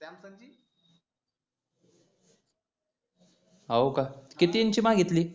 होका किती इंची मांगीतली